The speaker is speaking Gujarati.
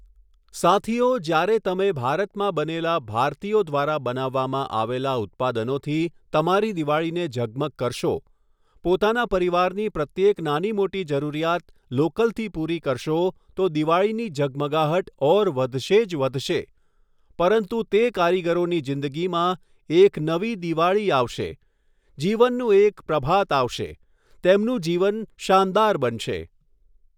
સાથીઓ, જ્યારે તમે ભારતમાં બનેલા ભારતીયો દ્વારા બનાવવામાં આવેલા ઉત્પાદનોથી તમારી દિવાળીને ઝગમગ કરશો, પોતાના પરિવારની પ્રત્યેક નાનીમોટી જરૂરિયાત લોકલથી પૂરી કરશો તો દિવાળીની ઝગમગાહટ ઓર વધશે જ વધશે, પરંતુ, તે કારીગરોની જીંદગીમાં, એક, નવી દિવાળી આવશે, જીવનનું એક પ્રભાત આવશે, તેમનું જીવન શાનદાર બનશે.